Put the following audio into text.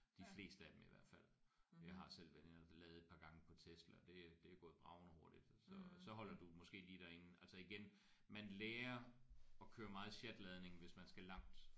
De fleste af dem i hvert fald. Jeg har selv været inde og lade et par gange på Tesla og det er det er gået bragende hurtigt så så holder du måske lige derinde altså igen man lærer at køre meget sjatladning hvis man skal langt